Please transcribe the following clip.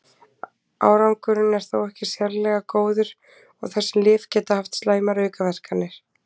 árangurinn er þó ekki sérlega góður og þessi lyf geta haft slæmar aukaverkanir